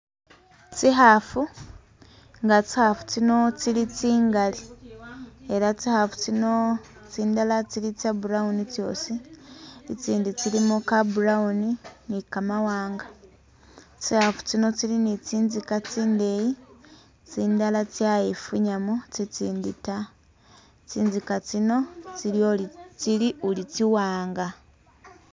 Tsikhafu nga tsikhafu tsino tsili tsingali ela tsikhafu tsino tsindala tsili tsya brown tsyosi, itsindi tsilimo ka brown ni ka mawanga, tsikhafu tsino tsili ni tsinzika tsindeyi tsindala tsayifunyamo, tsitsindi ta, tsinzika tsino tsili ori tsili uri tsi'wanga